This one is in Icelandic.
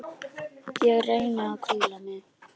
Ég reyni að hvíla mig.